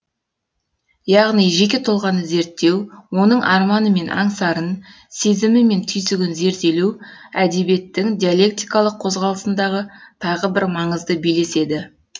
яғни жеке тұлғаны зерттеу оның арманы мен аңсарын сезімі мен түйсігін зерделеу әдебиеттің диалектикалық қозғалысындағы тағы бір маңызды белес еді